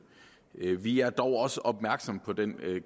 vi er dog også opmærksomme på den